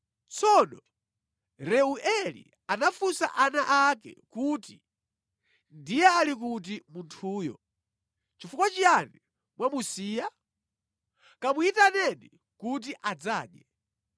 Tsono Reueli anafunsa ana ake kuti, “Ndiye ali kuti munthuyo? Chifukwa chiyani mwamusiya? Kamuyitaneni kuti adzadye.”